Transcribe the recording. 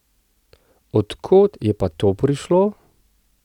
Od kod je pa to prišlo?